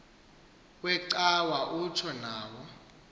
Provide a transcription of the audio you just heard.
wecawa utsho nawo